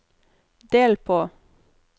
del på